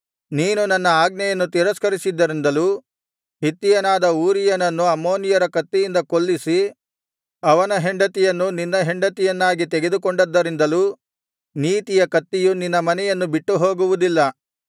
ನೀನು ನನ್ನ ಆಜ್ಞೆಯನ್ನು ತಿರಸ್ಕರಿಸಿದ್ದರಿಂದಲೂ ಹಿತ್ತಿಯನಾದ ಊರೀಯನನ್ನು ಅಮ್ಮೋನಿಯರ ಕತ್ತಿಯಿಂದ ಕೊಲ್ಲಿಸಿ ಅವನ ಹೆಂಡತಿಯನ್ನು ನಿನ್ನ ಹೆಂಡತಿಯನ್ನಾಗಿ ತೆಗೆದುಕೊಂಡದ್ದರಿಂದಲೂ ನೀತಿಯ ಕತ್ತಿಯು ನಿನ್ನ ಮನೆಯನ್ನು ಬಿಟ್ಟು ಹೋಗುವುದಿಲ್ಲ